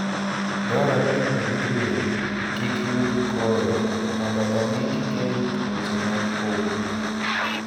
Dwarore ni orit winy kik yud koyo mondo omi gigeng' tuoche mag obo.